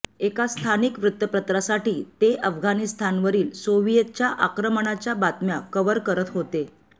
एका स्थानिक वृत्तपत्रासाठी ते अफगाणिस्तावरील सोव्हिएतच्या आक्रमणाच्या बातम्या कव्हर करत होते